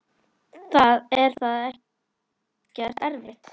Er það ekkert erfitt?